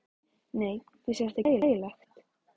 Nei, finnst þér þetta ekki ægilegt?